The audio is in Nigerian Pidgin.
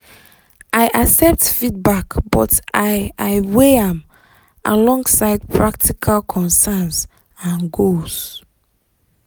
i accept feedback but i i weigh am alongside practical concerns and goals.